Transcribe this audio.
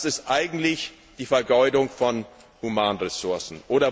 Das ist eigentlich die Vergeudung von Humanressourcen.